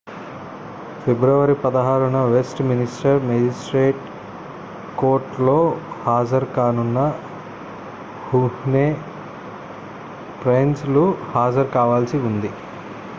ఫిబ్రవరి 16న Westminster మేజిస్ట్రేట్కోర్టులో హాజరు కానున్న హుహ్నే ప్రైస్ లు హాజరు కావాల్సి ఉంది